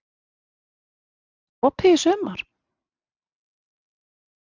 Og það er opið í sumar?